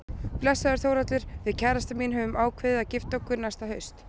Blessaður Þórhallur, við kærastan mín höfum ákveðið að gifta okkur næsta haust.